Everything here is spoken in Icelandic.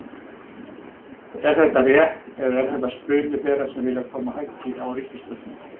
Er þetta rétt eða er þetta spuni þeirra sem vilja koma höggi á ríkisstjórnina?